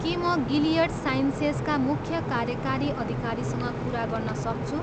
के म गिलियड साइन्सेसका मुख्य कार्यकारी अधिकारीसँग कुरा गर्न सक्छु?